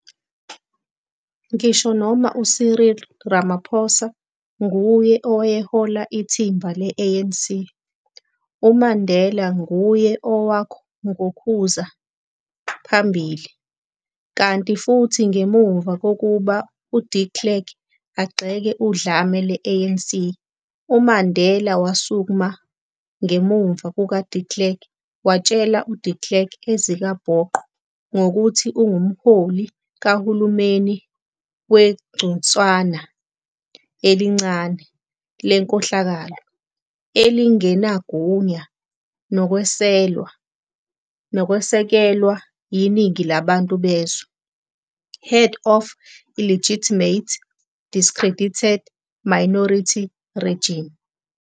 Ngisho noma u-Cyril Ramaphosa nguye owayehola ithimba le-ANC, uMandela nguye owangokhuza phambili, kanti futhi ngemuva kokuba uDe Klerk agxeka udlame lwe-ANC, uMandela wasukma ngemuva kukaDe Klerk watshela uDe Klerk ezikabhoqo ngokuthi ungumholi kahulumeni wegcunswana elincane lenkohlakalo elingenagunya nokwesekelwa yiningi labantu bezwe, "head of an illegitimate, discredited minority regime".